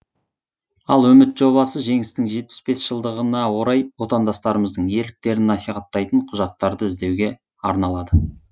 ал үміт жобасы жеңістің жетпіс бес жылдығына орай отандастарымыздың ерліктерін насихаттайтын құжаттарды іздеуге арналады